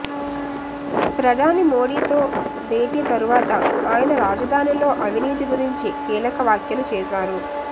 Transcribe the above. ప్రధాని మోదీతో భేటీ తరువాత ఆయన రాజధానిలో అవినీతి గురించి కీలక వ్యాఖ్యలు చేసారు